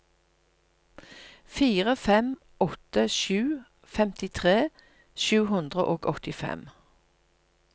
fire fem åtte sju femtitre sju hundre og åttifem